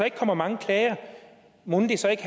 ikke kommer mange klager mon så ikke